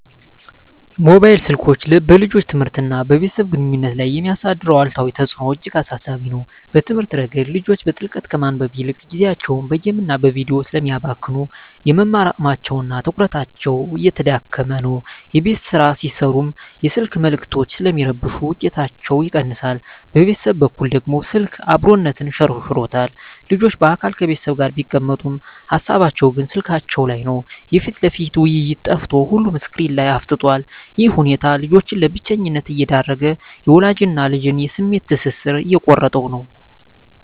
ሞባይል ስልኮች በልጆች ትምህርትና በቤተሰብ ግንኙነት ላይ የሚያሳድሩት አሉታዊ ተጽዕኖ እጅግ አሳሳቢ ነው። በትምህርት ረገድ፣ ልጆች በጥልቀት ከማንበብ ይልቅ ጊዜያቸውን በጌምና በቪዲዮ ስለሚያባክኑ፣ የመማር አቅማቸውና ትኩረታቸው እየተዳከመ ነው። የቤት ሥራ ሲሠሩም የስልክ መልዕክቶች ስለሚረብሹ ውጤታቸው ይቀንሳል። በቤተሰብ በኩል ደግሞ፣ ስልክ "አብሮነትን" ሸርሽሮታል። ልጆች በአካል ከቤተሰብ ጋር ቢቀመጡም፣ ሃሳባቸው ግን ስልካቸው ላይ ነው። የፊት ለፊት ውይይት ጠፍቶ ሁሉም ስክሪን ላይ አፍጥጧል። ይህ ሁኔታ ልጆችን ለብቸኝነት እየዳረገ፣ የወላጅና ልጅን የስሜት ትስስር እየቆረጠው ነው።